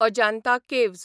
Ajanta caves